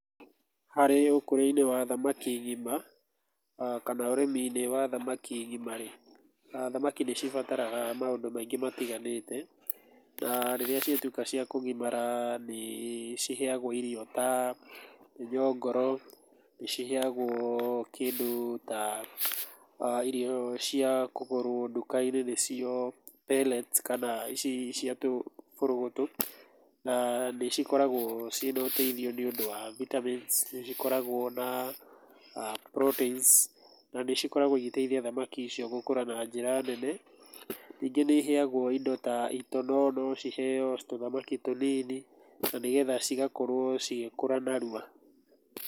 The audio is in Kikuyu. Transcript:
Harĩ ũkũria-inĩ wa thamaki ngima, kana ũrĩmi-inĩ wa thamaki ngima rĩ, thamaki nĩ cibataraga maũndũ maingĩ matiganĩte. Na rĩrĩa ciatuĩka cia kũgimara nĩ ciheagwo irio ta mĩnyongoro, nĩ ciheagwo kĩndũ ta irio cia kũgũrwo nduka-inĩ nĩcio pellets kana ici cia tũbũrũgũtũ na nĩ cikoragwo ciĩna ũteithio nĩ ũndũ wa vitamins nĩ cikoragwo na proteins na nĩ cikoragwo igĩteithia thamaki icio gũkũra na njĩra nene. Ningĩ nĩ iheagwo indo ta itono, no ciheo tũthamaki tũnini na nĩgetha cigakorwo cigĩkũra narua.